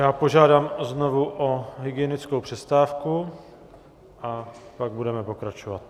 Já požádám znovu o hygienickou přestávku a pak budeme pokračovat.